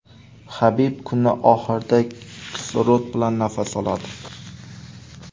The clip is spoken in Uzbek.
Habib kunning oxirida kislorod bilan nafas oladi.